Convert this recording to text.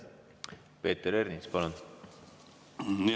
Peeter Ernits, palun!